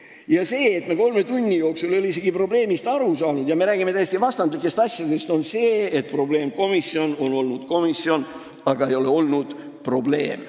Ja see, et me ei ole kolme tunni jooksul isegi probleemist aru saanud ja me räägime täiesti vastandlikest asjadest, tähendab, et meil on probleemkomisjon, aga probleeme ei ole olnud.